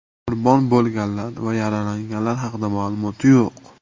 Qurbon bo‘lganlar va yaralanganlar haqida ma’lumot yo‘q.